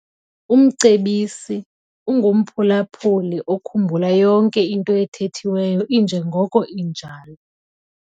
Umcebisi ungumphulaphuli okhumbula yonke into ethethiweyo injengoko injalo.